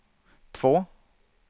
två